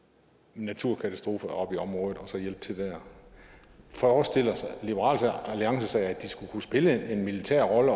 naturkatastrofer oppe i området forestiller liberal alliance sig at de overhovedet skal kunne spille en militær rolle